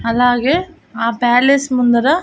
అలాగే ఆ ప్యాలెస్ ముందర--